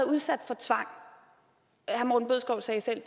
udsat for tvang herre morten bødskov sagde selv at